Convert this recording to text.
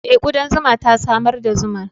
Eh, kudan zuma ta samar da zuman.